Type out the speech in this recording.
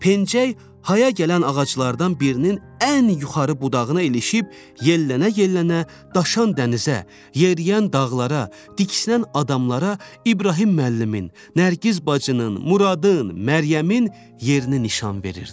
Pəncək haya gələn ağaclardan birinin ən yuxarı budağına ilişib yellənə-yellənə daşan dənizə, yeriyən dağlara, tiksinən adamlara, İbrahim müəllimin, Nərgiz bacının, Muradın, Məryəmin yerini nişan verirdi.